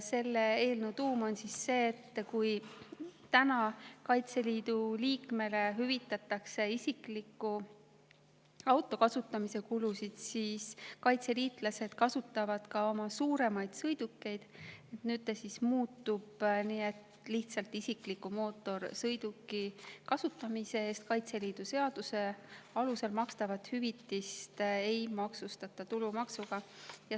Selle eelnõu tuum on see, et kui täna hüvitatakse Kaitseliidu liikmele isikliku auto kasutamise kulud, kuid kaitseliitlased kasutavad ka oma suuremaid sõidukeid, siis nüüd see muutub nii, et isikliku mootorsõiduki kasutamise eest Kaitseliidu seaduse alusel makstavat hüvitist ei maksustata tulumaksuga.